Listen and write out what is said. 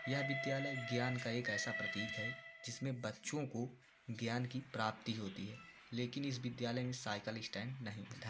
यह विद्यालय ज्ञान का एक ऐसा प्रतीक है जिसमें बच्चों को ज्ञान की प्राप्ति होती है लेकिन इस विद्यालय में साइकिल स्टैंड नही है।